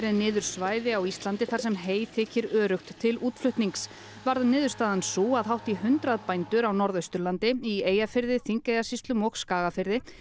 niður svæði á Íslandi þar sem hey þykir öryggt til útflutnings varð niðurstaðan sú að hátt í hundrað bændur á Norðausturlandi í Eyjafirði Þingeyjarsýslum og Skagafirði